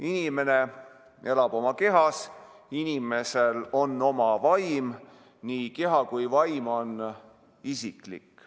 Inimene elab oma kehas, inimesel on oma vaim ning nii keha kui ka vaim on isiklikud.